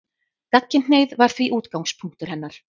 Gagnkynhneigð var því útgangspunktur hennar.